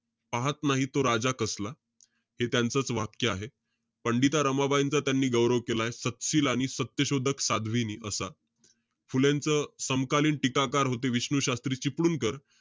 पाहत नाही तो राजा कसला. हे त्यांचंच वाक्य आहे. पंडिता रमाबाईंचा त्यांनी गौरव केलाय. सत्शील आणि सत्यशोधक साध्वीनी असा. फुलेंचं समकालीन टीकाकाकार होते, विष्णू शास्त्री चिपळूणकर.